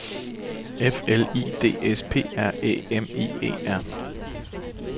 F L I D S P R Æ M I E R